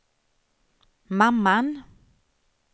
mamman